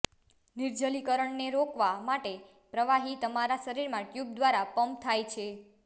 નિર્જલીકરણને રોકવા માટે પ્રવાહી તમારા શરીરમાં ટ્યુબ દ્વારા પમ્પ થાય છે